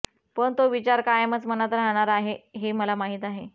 पण तो विचार कायमच मनात राहाणार आहे हे मला माहीत आहे